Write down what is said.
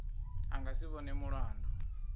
a nga si vhonwe mulandu